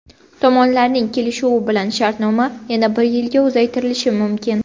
Tomonlarning kelishuvi bilan shartnoma yana bir yilga uzaytirilishi mumkin.